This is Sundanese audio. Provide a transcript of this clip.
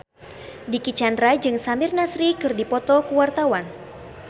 Dicky Chandra jeung Samir Nasri keur dipoto ku wartawan